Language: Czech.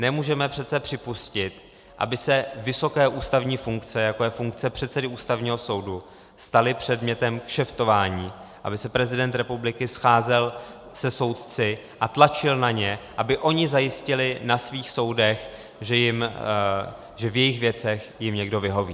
Nemůžeme přece připustit, aby se vysoké ústavní funkce, jako je funkce předsedy Ústavního soudu, staly předmětem kšeftování, aby se prezident republiky scházel se soudci a tlačil na ně, aby oni zajistili na svých soudech, že v jejich věcech jim někdo vyhoví.